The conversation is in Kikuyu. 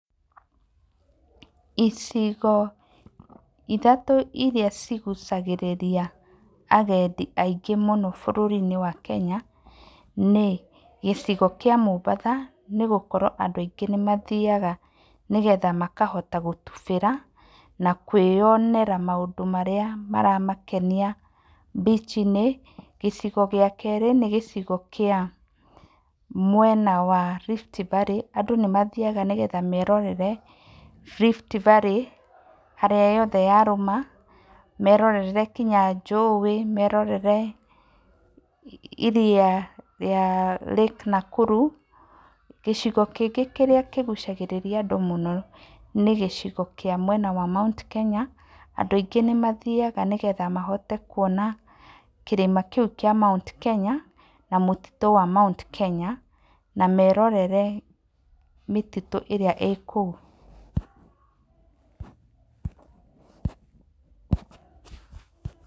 Icigo ithatũ iria cigucagĩrĩria agendi aingĩ mũno bũrũri-inĩ wa Kenya nĩ, gĩcigo kĩa Mũmbatha nĩ gũkorwo andũ aingĩ nĩmathiaga nĩgetha makahota gũtubĩra, na kũĩyonera maũndũ marĩa maramakenia beach -inĩ. Gĩcigo gĩa kerĩ, nĩ gĩcigo kĩa mwena wa Rift Valley. Andũ nĩ mathiaga nĩgetha merorere Rift Valley harĩa yothe yarũma, merorere nginya njũĩ, merorere iria rĩa Lake Nakuru. Gicigo kĩngĩ kĩrĩa kĩgucagĩrĩria andũ mũno nĩ gĩcigo kĩa mwena wa Mount Kenya, andũ aingĩ nĩmathiaga nĩgetha mahote kuona kĩrĩma kĩu kĩa Mount Kenya, na mũtitũ wa Mount Kenya, na merorere mĩtitũ ĩrĩa ĩkũu.